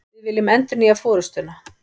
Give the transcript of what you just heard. Við viljum endurnýja forustuna